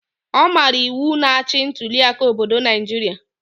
Ọ maara iwu na-achị ntuliaka obodo Naijiria